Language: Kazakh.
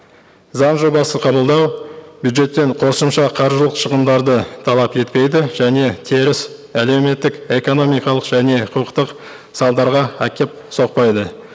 заң жобасын қабылдау бюджеттен қосымша қаржылық шығымдарды талап етпейді және теріс әлеуметтік экономикалық және құқықтық салдарға әкеп соқпайды